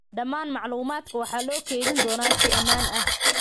Dhammaan macluumaadka waxaa loo kaydin doonaa si ammaan ah.